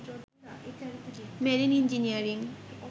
marine engineering